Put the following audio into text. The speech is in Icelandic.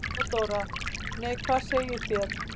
THEODÓRA: Nei, hvað segið þér?